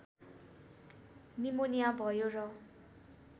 pneumonia भयो र